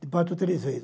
Te parto três vezes.